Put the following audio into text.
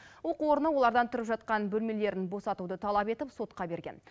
оқу орны олардан тұрып жатқан бөлмелерін босатуды талап етіп сотқа берген